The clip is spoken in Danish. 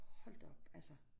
Hold da op altså